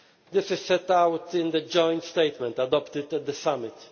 This is set out in the joint statement adopted at the summit.